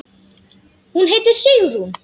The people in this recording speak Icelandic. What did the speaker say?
Hún heitir Sigrún.